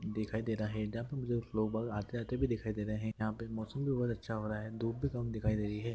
देखाई दे रहा है न मुझे लोग बाग आते आते भी दिखाई दे रहे है यां पे मौसम भी बोहोत अच्छा हो रहा है धूप भी कम दिखाई दे रही है।